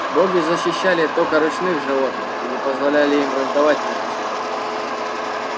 боги защищали только ручных животных и не позволяли им враждовать между собой